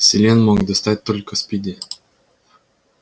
селен мог достать только спиди